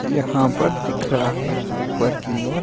यहां पर दिख रहा हैं ऊपर की ओर--